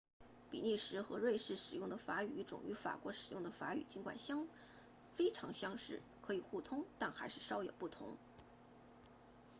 比利时和瑞士使用的法语语种与法国使用的法语尽管非常相似可以互通但还是稍有不同